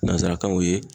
Nansarakanw ye